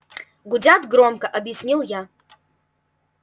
гудят громко объяснил я